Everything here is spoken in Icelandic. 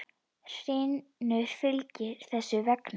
Hrynur fylgið þess vegna?